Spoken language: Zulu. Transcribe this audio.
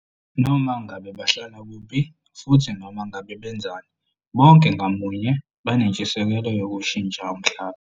Noma ngabe bahlala kuphi futhi noma ngabe benzani, bonke ngamunye banentshisekelo yokushintsha umhlaba.